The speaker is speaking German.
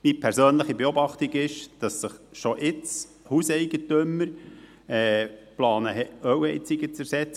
Meine persönliche Beobachtung ist, dass Hauseigentümer schon jetzt planen, Ölheizungen zu ersetzen.